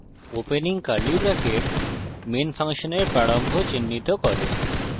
opening curly bracket main ফাংশনের প্রারম্ভ চিহ্নিত করে